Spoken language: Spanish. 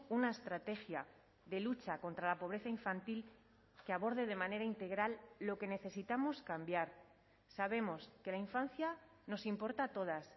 una estrategia de lucha contra la pobreza infantil que aborde de manera integral lo que necesitamos cambiar sabemos que la infancia nos importa a todas